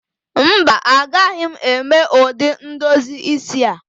Mba, agaghị m eme ụdị ndozi isi a